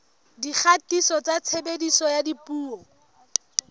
dikgatiso tsa tshebediso ya dipuo